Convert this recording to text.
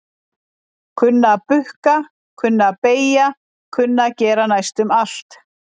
Kunna að bukka, kunna að beygja kunna að gera næstum allt.